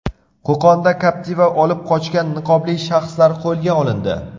Qo‘qonda Captiva olib qochgan niqobli shaxslar qo‘lga olindi.